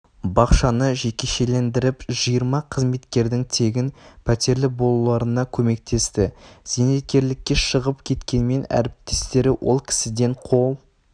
бақшаны жекешелендіріп жиырма қызметкердің тегін пәтерлі болуларына көмектесті зейнеткерлікке шығып кеткенмен әріптестері ол кісіден қол